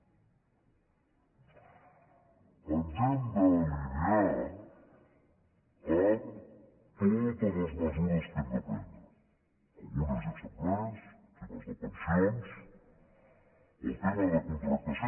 ens hem d’alinear amb totes les mesures que hem de prendre algunes ja s’han pres el tema de pensions el tema de contractació